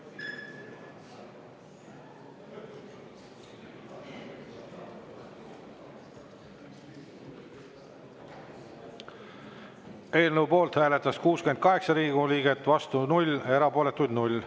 Eelnõu poolt hääletas 68 Riigikogu liiget, vastu 0, erapooletuid 0.